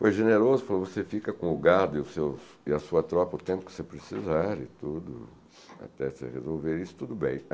Foi generoso, falou, você fica com o gado e os seus... e a sua tropa o tempo que você precisar e tudo, até você resolver isso, tudo bem.